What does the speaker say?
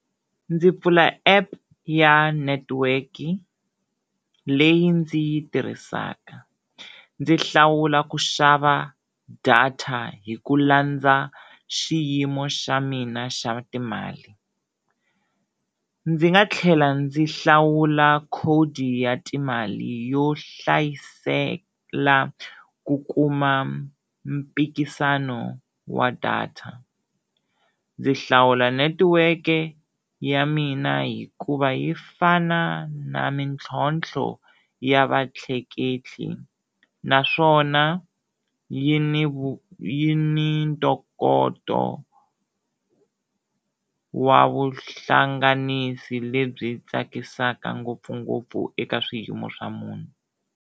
Ndzi pfula app ya network-i leyi ndzi yi tirhisaka, ndzi hlawula ku xava data hi ku landza xiyimo xa mina xa timali, ndzi nga tlhela ndzi hlawula khodi ya timali yo hlayisela ku kuma mpikisano wa data. Ndzi hlawula netiweke ya mina hikuva yi fana na mintlhontlho ya va tleketli naswona yi ni yi ni ntokoto wa vuhlanganisi lebyi tsakisaka ngopfungopfu eka swiyimo swa munhu.